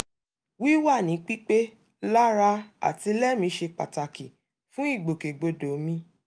wíwà ní pípé lára àti lẹ́mìí ṣe pàtàkì fún ìgbòkègbodò mi